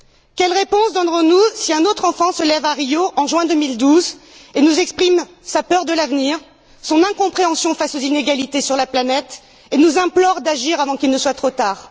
Quelle réponse donnerons nous si un autre enfant se lève à Rio en juin 2012 et nous exprime sa peur de l'avenir, son incompréhension face aux inégalités régnant sur la planète et nous implore d'agir avant qu'il ne soit trop tard?